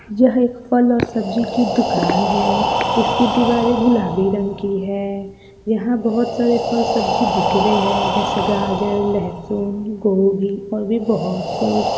यह एक फल और सब्जी की दुकान है इसकी दीवारें गुलाबी रंग की है यहा बहुत सारे फल-सब्जी बिक रहे हैं जैसे गाजर लह्सुन गोभी और भी बहुत कुछ।